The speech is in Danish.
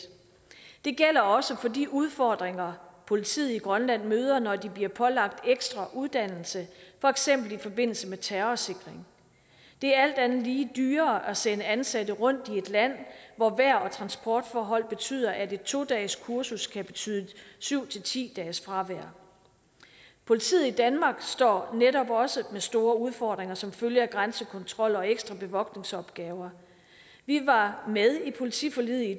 det gælder også for de udfordringer politiet i grønland møder når de bliver pålagt ekstra uddannelse for eksempel i forbindelse med terrorsikring det er alt andet lige dyrere at sende ansatte rundt i et land hvor vejr og transportforhold betyder at et to dages kursus kan betyde syv til ti dages fravær politiet i danmark står netop også med store udfordringer som følge af grænsekontrol og ekstra bevogtningsopgaver vi var med i politiforliget i